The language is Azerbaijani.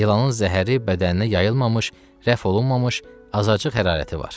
İlanın zəhəri bədəninə yayılmamış, rəf olunmamış, azacıq hərarəti var.